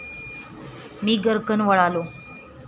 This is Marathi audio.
मी गर्रकन वळालो.